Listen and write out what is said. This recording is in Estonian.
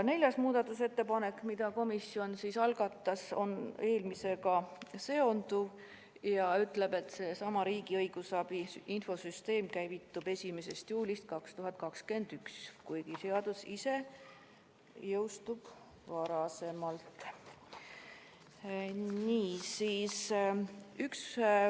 Neljas muudatusettepanek, mille komisjon algatas, on eelmisega seonduv ja ütleb, etriigi õigusabi infosüsteem käivitub 1. juulil 2021, kuigi seadus ise jõustub varem .